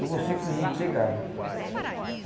Eu com cinco minutos chegava.